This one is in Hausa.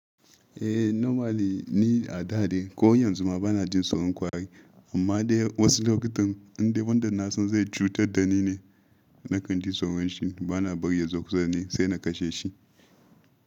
Eh normally ni a da dei ko yanzu ma bana jin tsoron kwari. Amma dai wasu lokutan indai wanda na san zai chutar da ni ne, na kan ji tsoron shi. Bana bari ya zo kusa da ni sai na kashe shi.